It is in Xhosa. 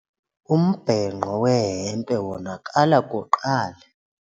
Umbhenqo wehempe wonakala kuqala.